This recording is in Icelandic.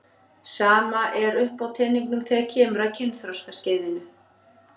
Sama er uppi á teningnum þegar kemur að kynþroskaskeiðinu.